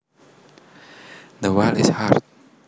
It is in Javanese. The wall is hard